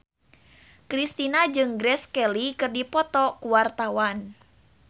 Kristina jeung Grace Kelly keur dipoto ku wartawan